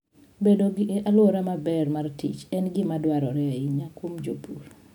Bedo gi alwora maber mar tich en gima dwarore ahinya kuom jopur.